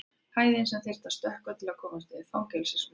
Hæðin sem þyrfti að stökkva til að komast yfir fangelsismúr.